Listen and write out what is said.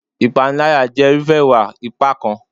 Ìpániláyà jẹ́ irúfẹ́ ìwà ipá kan.